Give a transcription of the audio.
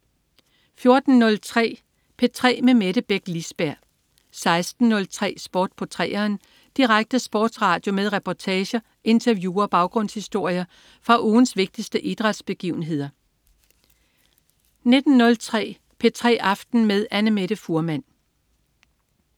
14.03 P3 med Mette Beck Lisberg 16.03 Sport på 3'eren. Direkte sportsradio med reportager, interview og baggrundshistorier fra ugens vigtigste idrætsbegivenheder 19.03 P3 aften med Annamette Fuhrmann